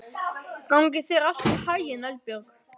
Gangi þér allt í haginn, Eldbjörg.